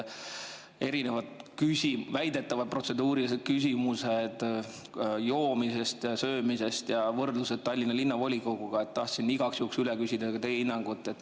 Erinevad väidetavad protseduurilised küsimused joomise ja söömise kohta ja võrdlused Tallinna Linnavolikoguga – tahtsin igaks juhuks küsida ka teie hinnangut.